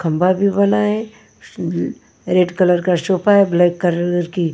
खम्भा भी बना है ब रेड कलर का सोफा है ब्लैक कलर की--